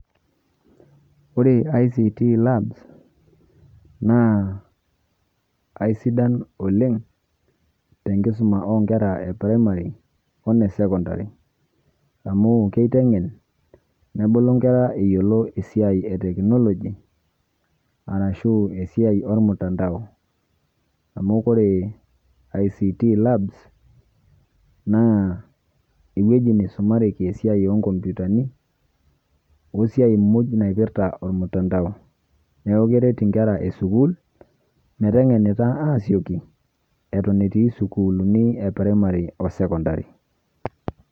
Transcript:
Ore ICT labs, naa aidan oleng', tenkisuma onkera e primary, o ne secondary. Amu kiteng'en, nebulu nkera eyiolo esiai e technology, arashu esiai omtandao. Amu ore ICT labs ,naa ewueji naisumareki esiai onkompitani, wesiai moj naipirta omtandao. Neeku keret inkera esukuul, meteng'enita asioki, eton etii isiaitin e primary o secondary.